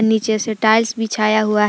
पीछे से टाइल्स बिछाया हुआ है।